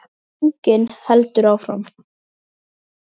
Þögnin heldur áfram.